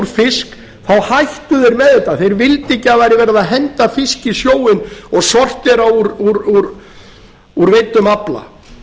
fisk þá hættu þeir með þetta þeir vildu ekki að það væri verið að henda fiski í sjóinn og sortera úr veiddum afla